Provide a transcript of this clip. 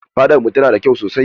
Fadar mu tana da kyau sosai.